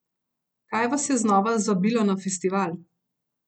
Kaj vas je znova zvabilo na festival?